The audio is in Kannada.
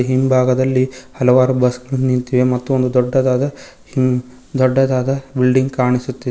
ಹಿಂಭಾಗದಲ್ಲಿ ಹಲವಾರು ಬಸ್ಸು ನಿಂತಿವೆ ಮತ್ತು ಒಂದು ದೊಡ್ಡದಾದ ಬಿಲ್ಡಿಂಗ್ ಕಾಣಿಸುತ್ತಿ--